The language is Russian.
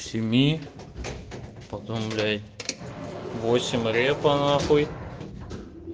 семи потом блять в восемь репа нахуй